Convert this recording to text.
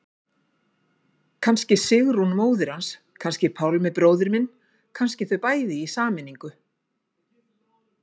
Kannski Sigrún móðir hans, kannski Pálmi bróðir minn, kannski þau bæði, í sameiningu.